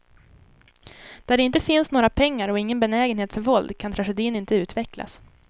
Där det inte finns några pengar och ingen benägenhet för våld kan tragedin inte utvecklas.